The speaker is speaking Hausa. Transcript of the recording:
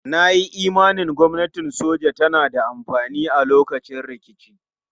Na yi imanin gwamnatin soja tana da amfani a lokacin rikici.